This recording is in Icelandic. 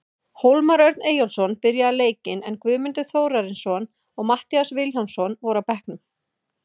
Hólmar Örn Eyjólfsson byrjaði leikinn, en Guðmundur Þórarinsson og Matthías Vilhjálmsson voru á bekknum.